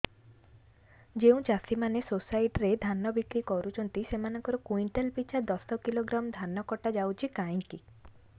ଯେଉଁ ଚାଷୀ ମାନେ ସୋସାଇଟି ରେ ଧାନ ବିକ୍ରି କରୁଛନ୍ତି ସେମାନଙ୍କର କୁଇଣ୍ଟାଲ ପିଛା ଦଶ କିଲୋଗ୍ରାମ ଧାନ କଟା ଯାଉଛି କାହିଁକି